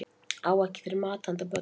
Á ekki fyrir mat handa börnunum